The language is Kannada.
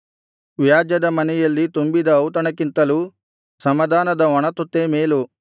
ವ್ಯಾಜ್ಯದ ಮನೆಯಲ್ಲಿ ತುಂಬಿದ ಔತಣಕ್ಕಿಂತಲೂ ಸಮಾಧಾನದ ಒಣತುತ್ತೇ ಮೇಲು